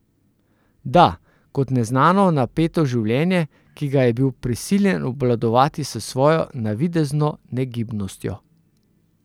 Da, kot neznano, napeto življenje, ki ga je bil prisiljen obvladovati s svojo navidezno negibnostjo.